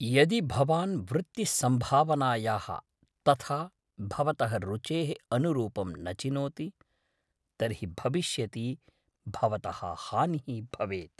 यदि भवान् वृत्तिसम्भावनायाः तथा भवतः रुचेः अनुरूपं न चिनोति तर्हि भविष्यति भवतः हानिः भवेत्।